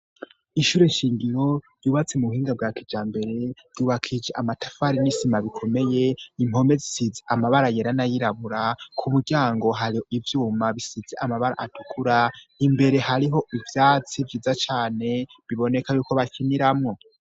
Ishure shingiro ryubatse mu buhinga bwa kija mbere ryubakije amatafari y'isima bikomeye impome zisitze amabara yerana yirabura ku muryango hari ibyuma bisitze amabara atukura imbere hariho ibyatsi byiza cyane biboneka yuko bakiniramwo.